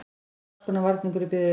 Allskonar varningur í biðröðinni.